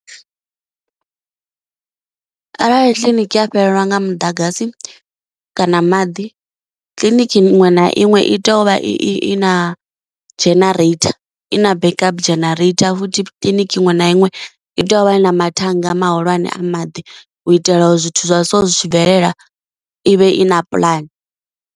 Arali kiliniki ya fhelelwa nga muḓagasi kana maḓi, kiḽiniki iṅwe na iṅwe i tea uvha i na generator i na backup generator, futhi kiḽiniki iṅwe na iṅwe i tea uvha i na mathannga mahulwane a maḓi u itela uri zwithu zwa so zwi tshi bvelela ivhe i na pulani.